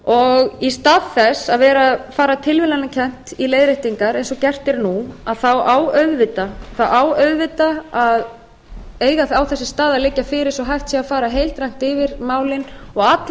þess í stað þess að vera að fara tilviljanakennt í leiðréttingar eins og gert er nú á þessi staða auðvitað að liggja fyrir svo hægt sé að fara heildrænt yfir málin og allar